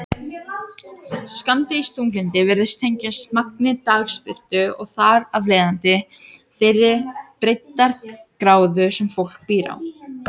Skammdegisþunglyndi virðist tengjast magni dagsbirtu og þar af leiðandi þeirri breiddargráðu sem fólk býr á.